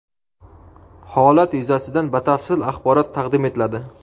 Holat yuzasidan batafsil axborot taqdim etiladi.